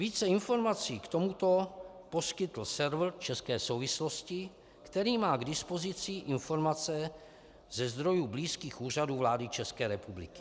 Více informací k tomuto poskytl server České souvislosti, který má k dispozici informace ze zdrojů blízkých Úřadu vlády České republiky.